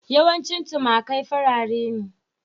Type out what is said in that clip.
Yawanci tumakai farare ne.